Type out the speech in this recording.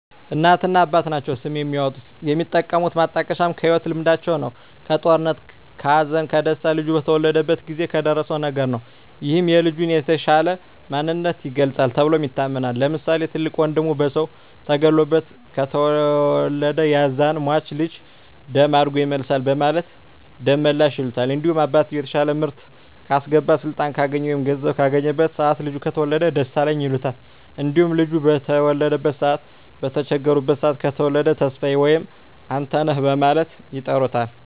እናትና አባት ናቸዉ ስም የሚያወጡት። የሚጠቀሙት ማጣቀሻም ከህይወት ልምዳቸዉ ነዉ(ከጦርነት ከሀዘን ከደስታ ልጁ በተወለደበት ጊዜ በደረሰዉ ነገር) ነዉ ይህም የልጁን የተሻለ ማንነት ይገልፃል ተብሎም ይታመናል። ለምሳሌ፦ ትልቅ ወንድሙ በሰዉ ተገሎበት ከተወለደ ያዛን ሟች ልጅ ደም አድጎ ይመልሳል በማለት ደመላሽ ይሉታል። እንዲሁም አባትየዉ የተሻለ ምርት ካስገባ ስልጣን ካገኘ ወይም ገንዘብ ካገኘበት ሰአት ልጁ ከተወለደ ደሳለኝ ይሉታል። እንዲሁም ልጁ በተበደሉበት ሰአት በተቸገሩበት ሰአት ከተወለደ ተስፋየ ወይም አንተነህ በማለት ይጠሩታል።